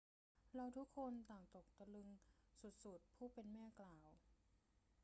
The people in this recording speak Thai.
เราทุกคนต่างตกตะลึงสุด ๆ ผู้เป็นแม่กล่าว